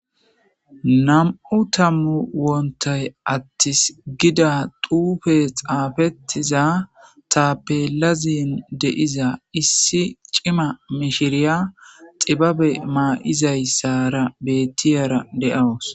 nam7u tammu woontay attis gida duufe xaafettiza tapelazin deiza issi cima mishiriya xibabe maa7izayssara bettiyara de7awus